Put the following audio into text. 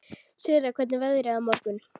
Sirra, hvernig er veðrið á morgun?